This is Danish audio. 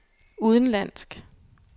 udenlandsk